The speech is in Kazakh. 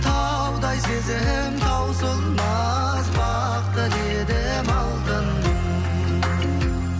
таудай сезім таусылмас бақ тіледім алтыным